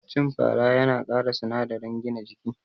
Cin fara yana kara sinadarin gina jiki